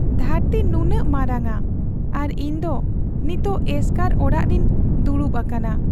ᱫᱷᱟᱹᱨᱛᱤ ᱱᱩᱱᱟᱹᱜ ᱢᱟᱨᱟᱝᱼᱟ ᱟᱨ ᱤᱧᱫᱚ ᱱᱤᱛ ᱮᱥᱠᱟᱨ ᱚᱲᱟᱜ ᱨᱤᱧ ᱫᱩᱲᱩᱵ ᱟᱠᱟᱱᱟ ᱾